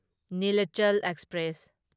Nilachal express